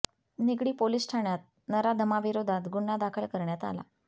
Nigdi police ठाण्यात नराधमाविरोधात गुन्हा दाखल करण्यात आला